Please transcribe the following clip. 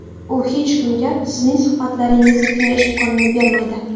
U hech kimga sizning suhbatlaringizni tinglash imkonini bermaydi.